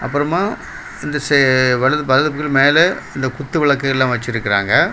அப்பறமா இந்தசே வலது வலது பக்கு மேல இந்த குத்து விளக்கு எல்லா வச்சிருக்குராங்க.